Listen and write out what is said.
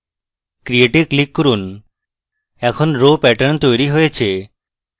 create এ click করুন এখন row pattern তৈরী হয়েছে